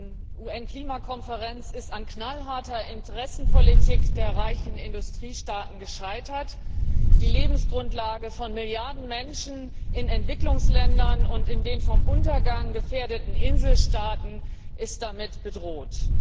Die UN Klimakonferenz ist an der knallharten Interessenpolitik der reichen Industriestaaten gescheitert. Die Lebensgrundlage von Milliarden Menschen in Entwicklungsländern, und in den vom Untergang gefährdeten Inselstaaten, ist damit bedroht.